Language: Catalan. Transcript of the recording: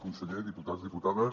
conseller diputats diputades